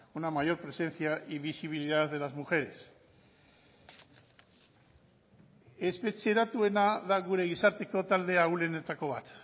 una mayor presencia y visibilidad de las mujeres espetxeratuena da gure gizarteko talde ahulenetako bat